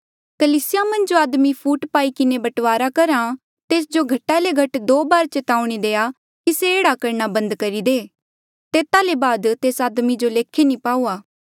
कलीसिया मन्झ जो आदमी फूट पाई किन्हें बंटवारा करहा तेस जो घटा ले घट दो बारी चेतावनी देआ कि से एह्ड़ा करणा बंद करी दे तेता ले बाद तेस आदमी जो लेखे नी पाऊआ